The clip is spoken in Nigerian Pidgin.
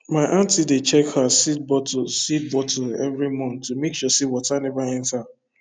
my aunty dey check her seed bottle seed bottle every month to make sure say water never enter